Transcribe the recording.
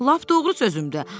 Lap doğru sözümdü.